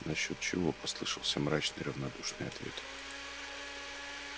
насчёт чего послышался мрачный равнодушный ответ